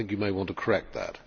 You may want to correct that.